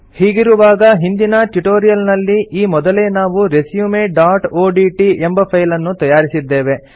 ಹೀಗಿರುವಾಗ ಹಿಂದಿನ ಟ್ಯುಟೋರಿಯಲ್ ನಲ್ಲಿ ಈ ಮೊದಲೇ ನಾವು resumeಒಡಿಟಿ ಎಂಬ ಫೈಲ್ ಅನ್ನು ತಯಾರಿಸಿದ್ದೇವೆ